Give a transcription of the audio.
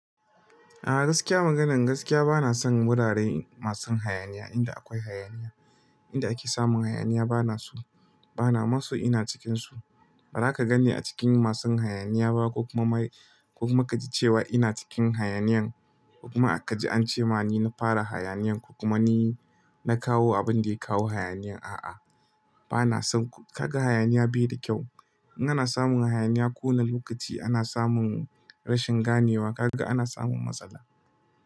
A'a gaskiya maganan gaskiya bana son wurare masu hayaniya, inda akwai hayaniya. Inda ake samun hayaniya bana so, bana ma so ina cikinsu. Ba za ka gan ni a cikin masu hayaniya ba ko kuma ka ji cewa ina cikin hayaniyan. Kuma ka ji ance ma ni na fara hayaniyan ko kuma ni na kawo abin da ya kawo hayaniyan. A'a, bana son. Kaga hayaniya bai da kyau. In ana samun hayaniya, ko wana lokaci ana samun rashin ganewa, kaga ana samun matsala.